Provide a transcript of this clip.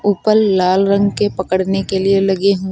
ऊपर लाल रंग के पकड़ने के लिए लगे हुए--